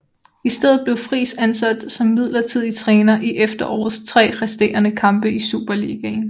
I stedet blev Friis ansat som midlertidig træner i efterårets tre resterende kampe i Superligaen